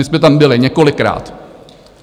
My jsme tam byli několikrát.